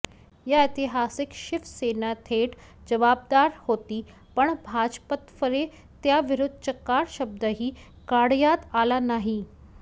या ऐतिहासिक शिवसेना थेट जबाबदार होती पण भाजपतर्फे त्याविरुद्ध चकार शब्दही काढण्यात आला नाही